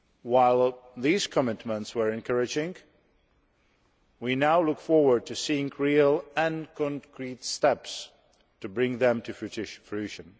While these commitments were encouraging, we now look forward to seeing real and concrete steps to bring them to fruition.